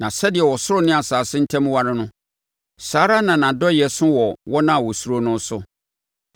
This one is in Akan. Na sɛdeɛ ɔsoro ne asase ntam ware no, saa ara na nʼadɔeɛ so wɔ wɔn a wɔsuro no so.